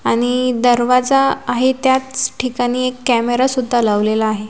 आणि दरवाजा आहे त्याच ठिकाणी एक कॅमेरा सुद्धा लावलेला आहे.